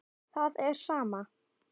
Það er sama.